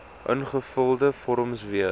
ingevulde vorms weer